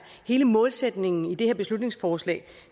hele målsætningen i det her beslutningsforslag